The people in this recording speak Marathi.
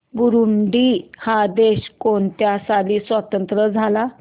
बुरुंडी हा देश कोणत्या साली स्वातंत्र्य झाला